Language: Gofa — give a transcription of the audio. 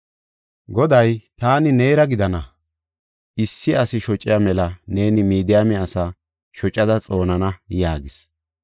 Goday, “Taani neera gidana; issi asi shociya mela neeni Midiyaame asaa shocada xoonana” yaagis.